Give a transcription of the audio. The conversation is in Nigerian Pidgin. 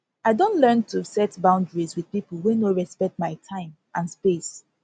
i don learn to set boundaries with people wey no respect my time and space